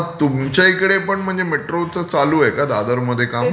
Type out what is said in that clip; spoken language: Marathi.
मग तुमच्या इकडे पण म्हणजे मेट्रोचं चालू आहे का दादरमध्ये काम?